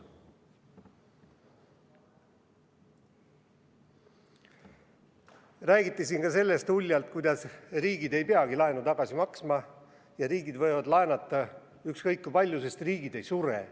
Räägiti siin uljalt ka sellest, kuidas riigid ei peagi laenu tagasi maksma ja riigid võivad laenata ükskõik kui palju, sest riigid ei sure.